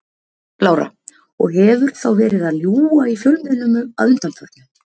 Lára: Og hefur þá verið að ljúga í fjölmiðlum að undanförnu?